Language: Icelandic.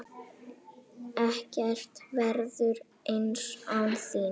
Ekkert verður eins án þín.